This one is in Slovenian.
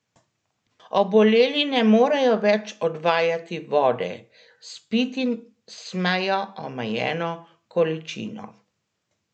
Oboleli ne morejo več odvajati vode, spiti smejo omejeno količino.